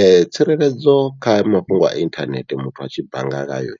Ee tsireledzo kha mafhungo a inthanethe muthu a tshi bannga ngayo